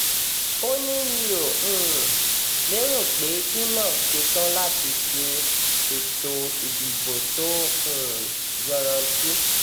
ó ní mi ò um lérò pé inov ṣetán láti ṣe ètò ìdìbò tó um yanranntí